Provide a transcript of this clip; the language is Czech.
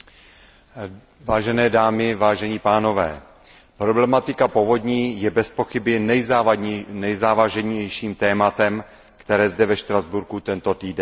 Vážené dámy, vážení pánové, problematika povodní je bezpochyby nejzávažnějším tématem, které zde ve Štrasburku tento týden řešíme.